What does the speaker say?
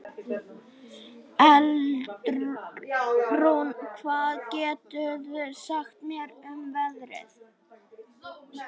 Eldrún, hvað geturðu sagt mér um veðrið?